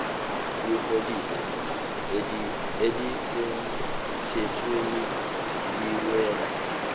iholide elisemthethweni liwela